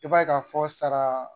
I b'a ye ka fɔ sara